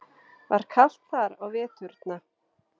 Var kalt þar á veturna?